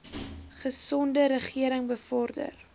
gesonde regering bevorder